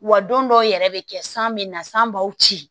Wa don dɔw yɛrɛ bɛ kɛ san bɛ na san b'aw ci